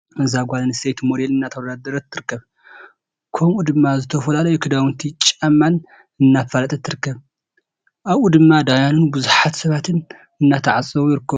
እዛ ጓል ኣነስተይቲ ሚዴል እናተወዳደረት ትርከብ። ከምኡ ድማ ዝተፈላለዩ ክዳውንቲን ጫማን እናፋለጠት ትርከብ። ኣብኡ ድማ ደያኑን ቡዙሓት ሰባትን እናተዓዘቡ ይርከቡ።